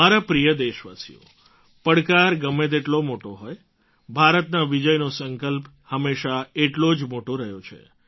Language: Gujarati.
મારા પ્રિય દેશવાસીઓ પડકાર ગમે તેટલો મોટો હોય ભારતના વિજયનો સંકલ્પ હંમેશાં એટલો જ મોટો રહ્યો છે